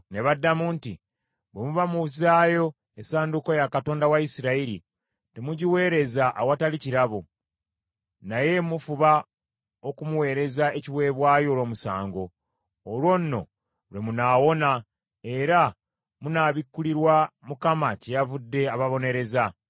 Ne baddamu nti, “Bwe muba muzzaayo essanduuko ya katonda wa Isirayiri, temugiweereza awatali kirabo, naye mufuba okumuweereza ekiweebwayo olw’omusango. Olwo nno lwe munaawona, era munaabikulirwa kyeyavudde ababonereza.”